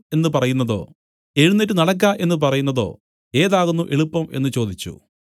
എന്നു പറയുന്നതോ എഴുന്നേറ്റ് നടക്ക എന്നു പറയുന്നതോ ഏതാകുന്നു എളുപ്പം എന്നു ചോദിച്ചു